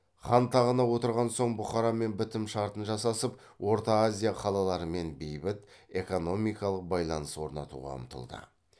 хан тағына отырған соң бұхарамен бітім шартын жасасып орта азия қалаларымен бейбіт экономикалық байланыс орнатуға ұмтылды